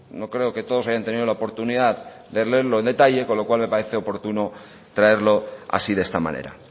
no creo que todos hayan tenido la oportunidad de leerlos en detalle con lo cual me parece oportuno traerlo así de esta manera